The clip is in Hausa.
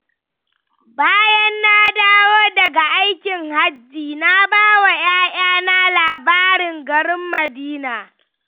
Bayan na dawo daga aikin Hajji, na ba wa 'ya'yana labarin garin Madina.